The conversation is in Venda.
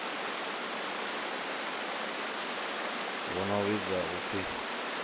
hu no vhidzwa u pfi